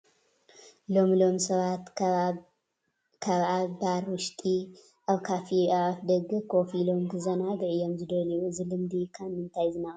ሎሚ ሎሚ ሰባት ካብ ኣብ ባር ውሽጢ ኣብ ካፌ ኣብ ደገ ኮፍ ኢሎም ክዘናግዑ እዮም ዝደልዩ፡፡ እዚ ልምዲ ካብ ምንታይ ዝነቐለ እዩ?